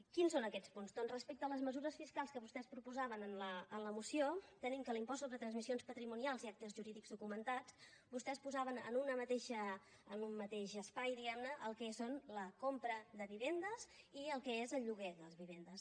quins són aquests punts doncs respecte a les mesures fiscals que vostès proposaven en la moció tenim que en l’impost sobre transmissions patrimonials i actes jurídics documentats vostès posaven en un mateix espai diguem ne el que és la compra de vivendes i el que és el lloguer de les vivendes